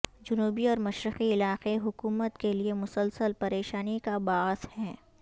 جنوبی اور مشرقی علاقے حکومت کے لیے مسلسل پریشانی کا باعث ہیں